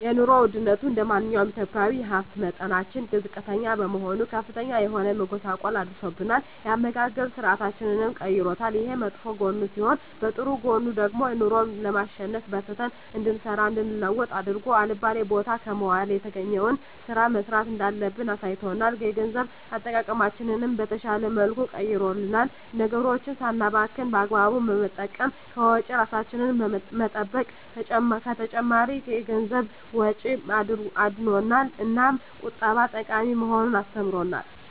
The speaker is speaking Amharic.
የኑሮ ወድነቱ እንደማንኛውም ኢትዮጵያዊ የሀብት መጠናችን ዝቅተኛ በመሆኑ ከፍተኛ የሆነ መጎሳቆል አድርሶብናል የአመጋገብ ስርአታችንንም ቀይሮታል። ይሄ በመጥፎ ጎኑ ሲሆን በጥሩ ጎኑ ደግሞ ኑሮን ለማሸነፍ በርትተን እንድንሰራ እንድንለወጥ አድርጎ አልባሌ ቦታ ከመዋል የተገኘዉን ስራ መስራት እንዳለብን አሳይቶናል። የገንዘብ አጠቃቀማችንን በተሻለ መልኩ ቀይሮልናል ነገሮችን ሳናባክን በአግባቡ በመጠቀም ከወጪ እራሳችንን በመጠበቅ ከተጨማሪ የገንዘብ ወጪ አድኖናል። እናም ቁጠባ ጠቃሚ መሆኑን አስተምሮናል።